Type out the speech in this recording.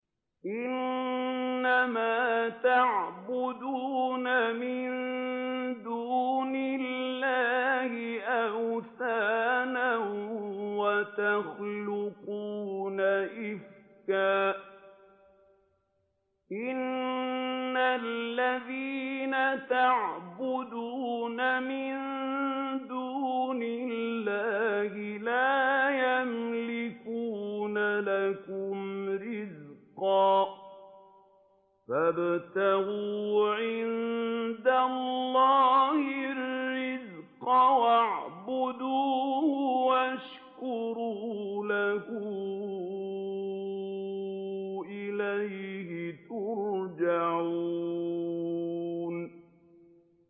إِنَّمَا تَعْبُدُونَ مِن دُونِ اللَّهِ أَوْثَانًا وَتَخْلُقُونَ إِفْكًا ۚ إِنَّ الَّذِينَ تَعْبُدُونَ مِن دُونِ اللَّهِ لَا يَمْلِكُونَ لَكُمْ رِزْقًا فَابْتَغُوا عِندَ اللَّهِ الرِّزْقَ وَاعْبُدُوهُ وَاشْكُرُوا لَهُ ۖ إِلَيْهِ تُرْجَعُونَ